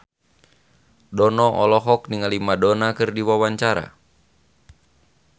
Dono olohok ningali Madonna keur diwawancara